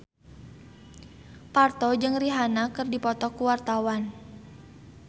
Parto jeung Rihanna keur dipoto ku wartawan